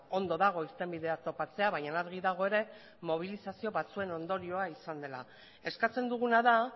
ondo dago irtenbideak topatzea baina argi dago ere mobilizazio batzuen ondorioa izan dela eskatzen duguna da